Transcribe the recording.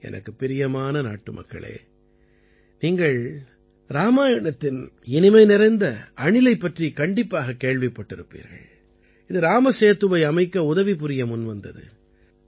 எனக்குப் பிரியமான நாட்டுமக்களே நீங்கள் இராமாயணத்தின் இனிமை நிறைந்த அணிலைப் பற்றிக் கண்டிப்பாகக் கேள்விப்பட்டிருப்பீர்கள் இது ராமசேதுவை அமைக்க உதவிபுரிய முன்வந்தது